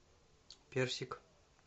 персик